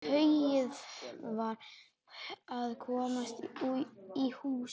Tauið varð að komast í hús.